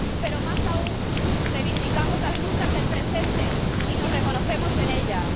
Pero, más aún, reivindicamos las luchas del presente y nos reconocemos en ellas.